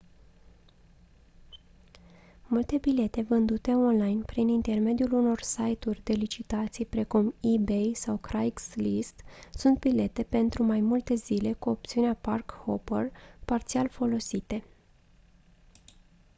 multe bilete vândute online prin intermediul unor site-uri de licitații precum ebay sau craigslist sunt bilete pentru mai multe zile cu opțiunea park-hopper parțial folosite